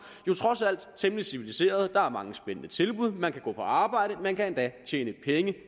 jo trods alt er temmelig civiliserede der er mange spændende tilbud man kan gå på arbejde man kan endda tjene penge